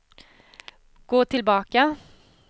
gå tillbaka